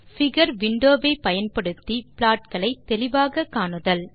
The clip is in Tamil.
பிகர் விண்டோ ஐ பயன்படுத்தி ப்ளாட் களை தெளிவாக காணுதல்